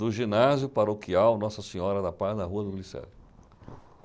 do ginásio paroquial Nossa Senhora da Paz, na Rua do Glicério.